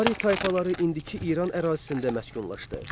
Ari tayfaları indiki İran ərazisində məskunlaşdı.